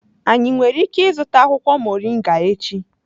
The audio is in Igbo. Anyi nwere ike izuta akwukwo moringa echi?